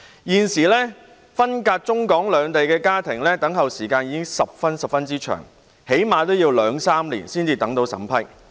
現時分隔中港兩地的家庭等候來港的時間已經十分長，最低限度要兩三年才獲審批。